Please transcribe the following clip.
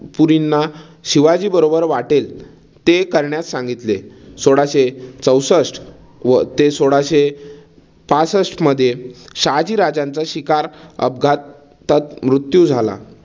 ना शिवाजी बरोबर वाटेल ते करण्यास सांगितले. सोळाशे चौसष्ठ व ते सोळाशे पासष्टमध्ये शहाजी राजांचा शिकार अपघातात मृत्यू झाला.